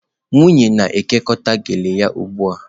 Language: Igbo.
Nwunye na-ekekọta gele ya ugbu a.